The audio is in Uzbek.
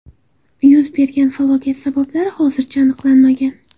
Yuz bergan falokat sabablari hozircha aniqlanmagan.